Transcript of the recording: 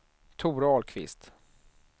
Tore Ahlqvist